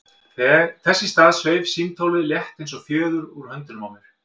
Þess í stað sveif símtólið, létt eins og fjöður, úr höndunum á mér.